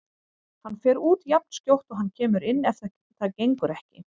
Hann fer út jafnskjótt og hann kemur inn ef þetta gengur ekki.